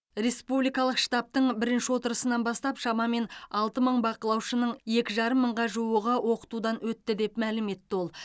республикалық штабтың бірінші отырысынан бастап шамамен алты мың бақылаушының екі жарым мыңға жуығы оқытудан өтті деп мәлім етті ол